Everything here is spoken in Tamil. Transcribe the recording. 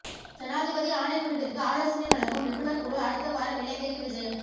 ஜனாதிபதி ஆணைக்குழுவிற்கு ஆலோசனை வழங்கும் நிபுணர் குழு அடுத்த வாரம் இலங்கைக்கு விஜயம்